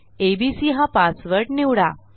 ABC हा password निवडा